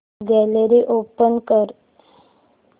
gallery open कर